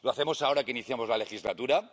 Lo hacemos ahora que iniciamos la legislatura